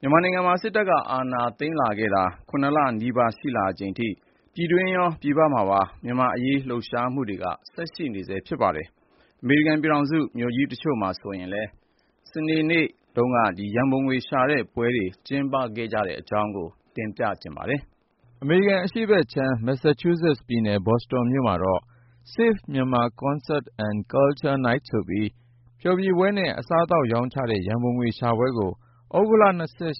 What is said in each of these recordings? မြန်မာနိုင်ငံမှာ စစ်တပ်က အာဏာသိမ်းခဲ့တာ ၇ လနီးပါး ရှိလာချိန်ထိ ပြည်တွင်းရော၊ ပြည်ပမှာပါ မြန်မာ့အရေး လှုပ်ရှားမှုတွေ ဆက်ရှိနေဆဲ ဖြစ်ပါတယ်။ အမေရိကန်ပြည်ထောင်စု မြို့ကြီးတချို့မှာဆိုရင်လည်း စနေနေ့က ရန်ပုံငွေရှာတဲ့ပွဲတွေ ကျင်းပခဲ့တဲ့ အကြောင်း ကိုဉာဏ်ဝင်းအောင်က စုစည်းတင်ပြထားပါတယ်။ အမေရိကန် အရှေ့ဖက်ခြမ်း မက်ဆာချူးဆက်ပြည်နယ် ဘော်စတွန်မြို့မှာတော့ Save Myanmar Concert and Culture Night ဆိုပြီး ဖျော်ဖြေပွဲနဲ့ အစားသောက်ရောင်းချတဲ့ ရန်ပုံငွေရှာပွဲကို သြဂုတ်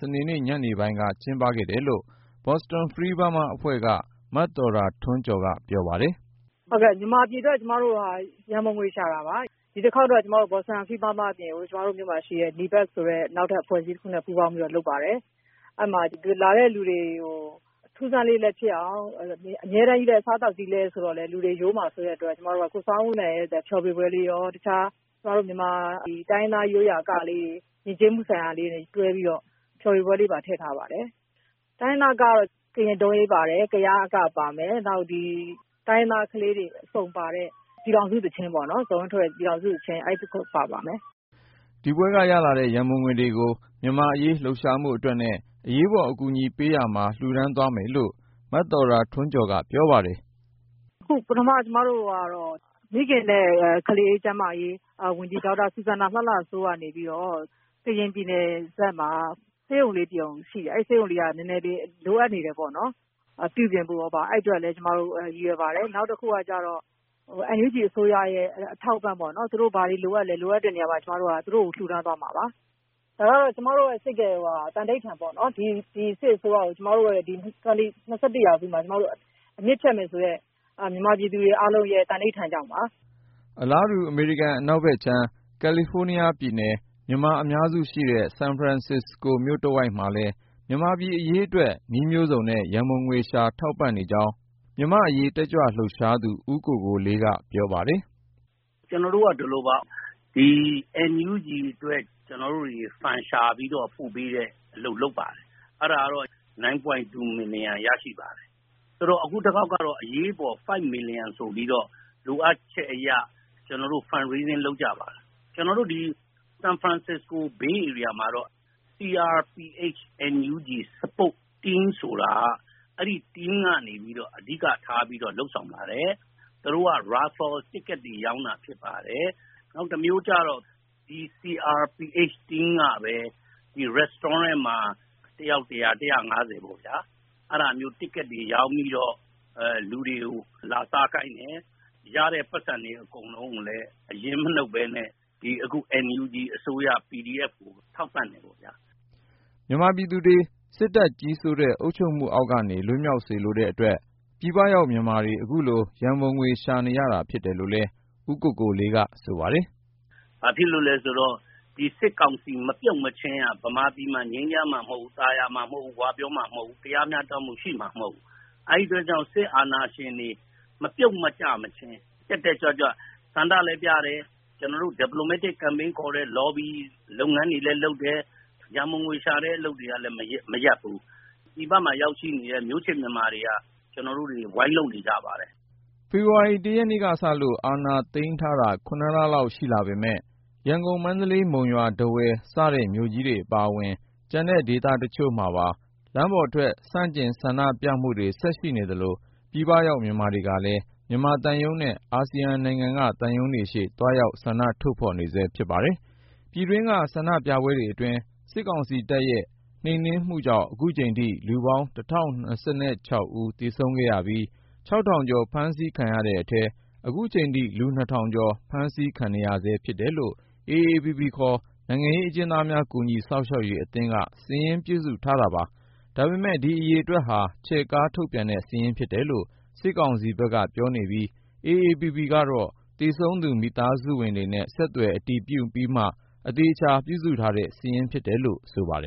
စနေနေ့ ညနေပိုင်းက ကျင်းပခဲ့တယ်လို့ Boston Free Burma အဖွဲ့က မသော်တာထွန်းကျော်က ပြောပါတယ်။ " မြန်မာပြည်အတွက် ကျမတို့ ရန်ပုံငွေရှာတာပါ။ ဒီတခေါက်ကတော့ ကျမတို့ရဲ့ Boston Free Burma အဖွဲ့ အပြင်ကို ဒီမြို့က ဒေသခံအဖွဲ့အစည်း အဖွဲ့တခုနဲ့ပူးပေါင်းပြီးတော့ လုပ်ပါတယ်။ ဒီပွဲကိုလာတဲ့လူတွေကို အစားသောက် ရောင်းချရုံတင်မကပဲ အထူးအဆန်းလေးလည်း ဖြစ်အောင်လို့ အဆိုတော် ဆောင်းဦးလှိုင်ရဲ့ ဖျော်ဖြေပွဲလည်းရော ၊ အခြား မြန်မာအက တိုင်းရင်းသားအကတွေပါ တွဲပြီးတော့ ယဉ်ကျေးမှု ဖျော်ဖြေပွဲလေးပါ ထည့်ထားပါတယ်။ ကရင်ဒုံးယိမ်း၊ ကယားအကတွေလည်း ပါပါတယ်။ ဇော်ဝင်းထွဋ်ရဲ့ ပြည်ထောင်စုသီချင်းနဲ့ တိုင်းရင်းသားကလေးတွေက ကပါတယ်။ " ဒီပွဲကနေ ရလာတဲ့ ရန်ပုံငွေတွေကို မြန်မာ့အရေး လှုပ်ရှားမှုအတွက်နဲ့ အရေးပေါ် အကူအညီပေးရေးမှာ လှူဒါန်းသွားမယ်လို့ မသော်တာထွန်းကျော်က ပြောပါတယ်။ " ပထမအနေနဲ့ မိခင်နဲ့ကလေးကျန်းမာရေးဝန်ကြီး ဒေါ်စူဇမ်နာလှလှစိုးက နေပြီးတော့ ကရင်ပြည်နယ်ဖက်မှာ ဆေးရုံလေးတရုံ ရှိတယ်။ အဲဒီဆေးရုံက လိုအပ်ချက်တွေ ရှိနေတယ်ပေါ့နော်။ ပြုပြင်ဖို့တို့ဘာတို့ အဲဒီအတွက် ကျမတို့ ရည်ရွယ်ပါတယ်။ နောက်တခုက NUG အစိုးရကို ထောက်ပံ့ဖို့ပေါ့၊ သူတို့ ဘာတွေလိုအပ်သလဲပေါ့ လိုအပ်တဲ့နေရာကို ကျမတို့က လှူဒါန်းသွားမှာပါ။ ကျမတို့ စိတ်ထဲမှာ သံဓိဌာန်ချထားတာက ဒီစစ်အစိုးရကို ၂၀၂၁ ထဲမှာ အမြစ်ဖြတ်မယ်ဆိုတဲ့ မြန်မာပြည်သူတွေရဲ့ သံဓိဌာန်ကြောင့်ပါ။ " အလားတူ အမေရိကန် အနောက်ဖက်ခြမ်း ကယ်လီဖိုးနီးယားပြည်နယ် မြန်မာအများစုရှိတဲ့ ဆန်ဖရန်စစ္စကိုမြို့တဝိုက်မှာလည်း မြန်မာပြည် အရေးအတွက် နည်းမျိုးစုံနဲ့ ရန်ပုံငွေရှာ ထောက်ပံ့နေကြောင်း မြန်မာ့အရေးတက်ကြွလှုပ်ရှားသူ ဦးကိုကိုလေးက ပြောပါတယ်။ " ကျနော်တို့က ဒီလိုပါ NUG အတွက် ရန်ပုံငွေရှာပြီး ပို့ပေးတဲ့အလုပ် လုပ်ပါတယ်။ အရင်က ဒေါ်လာ သန်း ရပါတယ်။ အခုတခေါက်ကတော့ အရေးပေါ် ဒေါ်လာ သန်း လိုအပ်လာတဲ့အတွက် ကျနော်တို့ ရန်ပုံငွေ ရှာကြပါတယ်။ ကျနော်တို့ ဒီ ဆန်ဖရန်စစ္စကို မှာတော့ CRPH & NUG Support Team ထောက်ပံ့ရေးဆိုပြီး အဲဒီအဖွဲ့ကနေ အဓိကထား လုပ်ဆောင်နေပါတယ်။ သူတို့က Raffle Tickets ကံစမ်းမဲ လက်မှတ်တွေ ရောင်းတာဖြစ်ပါတယ်။ နောက်တမျိုးကျတော့ အဲဒီ CRPH Support Team ကပဲ စားသောက်ဆိုင်တွေမှာ တယောက် ဒေါ်လာ ပေါ့၊ အဲဒါမျိုး လက်မှတ်တွေ ရောင်းပြီးတော့ လူတွေကို လာစားခိုင်းတယ်။ ရတဲ့ပိုက်ဆံတွေ အကုန်လုံးကို အရင်းမနှုတ်ပဲနဲ့ ဒီ NUG အစိုးရ PDF ကိုထောက်ပံ့တယ်ပေါ့ဗျာ။ " မြန်မာပြည်သူတွေ စစ်တပ်ကြီးစိုးတဲ့ အုပ်ချုပ်မှုအောက်ကနေ လွတ်မြောက်စေလိုတဲ့အတွက် ပြည်ပရောက် မြန်မာတွေ အခုလို ရန်ပုံငွေရှာနေရတာ ဖြစ်တယ်လို့လည်း ဦးကိုလေးက ဆိုပါတယ်။ " ဘာဖြစ်လို့လည်းဆိုတော့ ဒီ စစ်ကောင်စီ မပြုတ်မချင်းက မြန်မာပြည် ငြိမ်းချမ်း သာယာ ဝပြောမှာ မဟုတ်ဘူး၊ တရားမျှတမှု ရှိမှာမဟုတ်ဘူးလေ။ အဲဒါကြောင့် စစ်အာဏာရှင်တွေ မပြုတ်ကျမချင်း တက်တက်ကြွကြွနဲ့ ဆန္ဒလည်းပြတယ်၊ သံတမန်ရေး လှုပ်ရှားမှု Diplomatic Campaign ခေါ်တယ်။ လော်ဘီ လုပ်ငန်းတွေလည်း လုပ်တယ်။ ရန်ပုံငွေရှာတဲ့ အလုပ်တွေကိုလည်း မရပ်ဘူး။ ပြည်ပကို ရောက်ရှိနေတဲ့ ကျနော်တို့ မျိုးချစ်မြန်မာတွေ ဝိုင်းလုပ်နေကြပါတယ်။ " ဖေဖေါ်ဝါရီ ရက်နေ့ကစလို့ အာဏာသိမ်းထားတာ လလောက် ရှိလာပေမယ့် ရန်ကုန်၊ မန္တလေး၊ မုံရွာ၊ ထားဝယ် စတဲ့မြို့ကြီးတွေအပါအဝင် ကျန်တဲ့ဒေသတချို့မှာပါ လမ်းပေါ်ထွက် ဆန့်ကျင်ဆန္ဒပြမှုတွေ ရှိနေသလို၊ ပြည်ပရောက် မြန်မာတွေကလည်း မြန်မာသံရုံးနဲ့ အာဆီယံနိုင်ငံက သံရုံးတွေရှေ့ သွားရောက်ဆန္ဒထုတ်ဖေါ်နေဆဲ ဖြစ်ပါတယ်။ ပြည်တွင်းက ဆန္ဒပြပွဲတွေအတွင်း စစ်ကောင်စီတပ်ရဲ့ နှိမ်နင်းမှုကြောင့် ခုချိန်ထိ လူပေါင်း ဦး သေဆုံးခဲ့ပြီး ၊ ထောင်ကျော် ဖမ်းဆီးခံခဲ့ရတဲ့အထဲ ခုချိန်ထိ လူ ထောင်ကျော် ဖမ်းဆီးခံနေရဆဲ ဖြစ်တယ်လို့ AAPP ခေါ် နိုင်ငံရေးအကျဉ်းသားများ ကူညီစောင့်ရှောက်ရေးအသင်းက စာရင်းပြုစုထားတာပါ။ ဒါပေမဲ့ အဲဒီအရေအတွက်ဟာ ချဲ့ကား ထုတ်ပြန်တဲ့ စာရင်းဖြစ်တယ်လို့ စစ်ကောင်စီက ပြောနေပြီး AAPP ကတော့ သေဆုံးသူ မိသားစုဝင်တွေနဲ့ ဆက်သွယ် အတည်ပြုပြီးမှ အသေအချာ ပြုစုထားတဲ့စာရင်းဖြစ်တယ်လို့ ဆိုပါတယ်